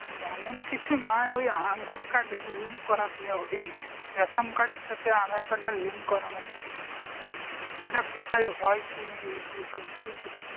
তেমন কিছু না ওই aadhaar card এর link করাতে ওই ই ration card এর সাথে aadhaar card এর link করানো ছিল সেটা কোথায় হয় কি যদি বলতিস